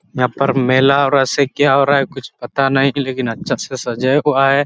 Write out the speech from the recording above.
यहाँ पर मेला और ऐसा क्या हो रहा कुछ पता नहीं लकिन अच्छे से सजाया हुआ है।